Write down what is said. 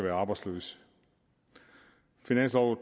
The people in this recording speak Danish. er arbejdsløse finansloven